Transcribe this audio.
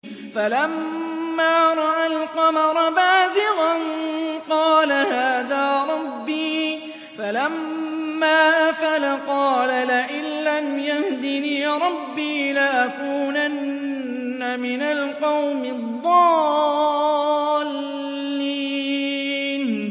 فَلَمَّا رَأَى الْقَمَرَ بَازِغًا قَالَ هَٰذَا رَبِّي ۖ فَلَمَّا أَفَلَ قَالَ لَئِن لَّمْ يَهْدِنِي رَبِّي لَأَكُونَنَّ مِنَ الْقَوْمِ الضَّالِّينَ